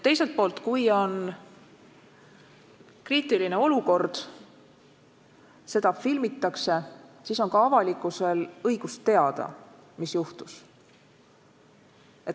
Teiselt poolt, kui on kriitiline olukord ja seda filmitakse, siis on ka avalikkusel õigus teada, mis juhtus.